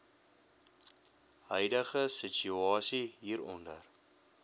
huidige situasie hieronder